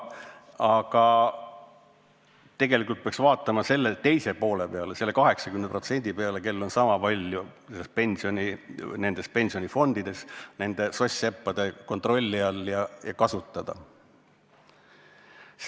Aga tegelikult peaks vaatama selle teise poole peale, selle 80% peale, kellel on sama palju pensioni pensionifondides nende soss-seppade kontrolli all ja nende kasutada.